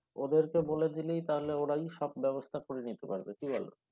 ওদেরকে বলে দিলেই তাহলে ওরাই সব ব্যবস্থা করে নিতে পারবে কি বলো?